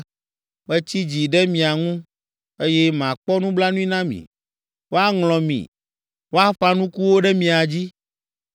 Metsi dzi ɖe mia ŋu, eye makpɔ nublanui na mi. Woaŋlɔ mi, woaƒã nukuwo ɖe mia dzi,